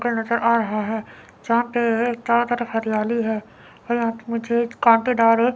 नजर आ रहे हैं चारो तरफ हरियाली है यहां पे मुझे काटेदार एक--